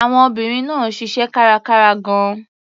Àwọn obìnrin náà ṣiṣẹ́ kárakára gan-an.